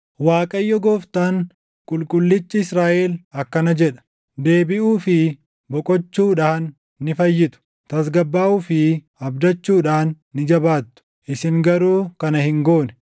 Waaqayyo Gooftaan, Qulqullichi Israaʼel akkana jedha: “Deebiʼuu fi boqochuudhaan ni fayyitu; tasgabbaaʼuu fi abdachuudhaan ni jabaattu; isin garuu kana hin goone.